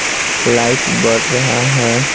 Light बढ़ रहा है।